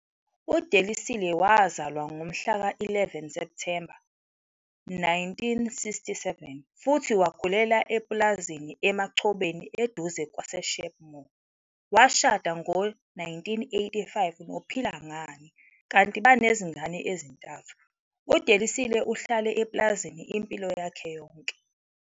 UDelisile wazalwa ngomhla ka-11 Septhemba 1967 futhi wakhulela epulazini Emachobeni eduze kwaseSheepmoor. Washada ngo-1985 noPhilangani kanti banezingane ezintathu. UDelisile uhlale epulazini impilo yakhe yonke.